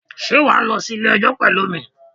Sé wà á lọ sí Ilé ẹjọ́ pẹ̀lú mi?